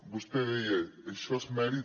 vostè deia això és mèrit